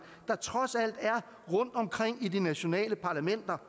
der trods alt er rundtomkring i de nationale parlamenter